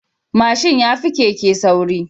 Mashin yafi Keke sauri